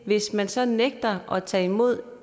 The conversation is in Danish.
hvis man så nægter at tage imod